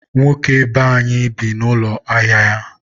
nwoke be anyị bi n'ụlọ ahịa ya.